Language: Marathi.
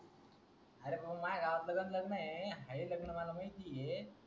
अरे माह्या गावातलं पण लग्नन है हाय लग्नन मला माहिती ये